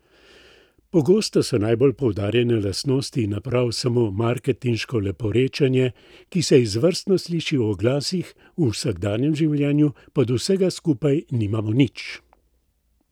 Pogosto so najbolj poudarjane lastnosti naprav samo marketinško leporečenje, ki se izvrstno sliši v oglasih, v vsakdanjem življenju pa od vsega skupaj nimamo nič.